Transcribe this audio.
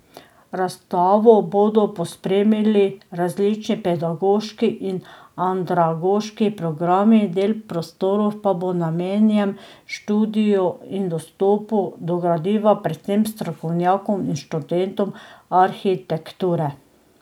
Razstavo bodo pospremili različni pedagoški in andragoški programi, del prostorov pa bo namenjen študiju in dostopu do gradiva predvsem strokovnjakom in študentom arhitekture.